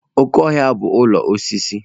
Oke ohia bu ulo osisi.